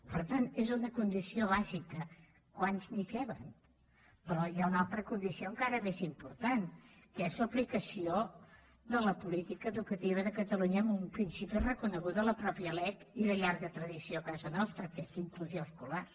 per tant és una condició bàsica quants n’hi caben però hi ha una altra condició encara més important que és l’aplicació de la política educativa de catalunya amb un principi reconegut a la mateixa lec i de llarga tradició a casa nostra que és la inclusió escolar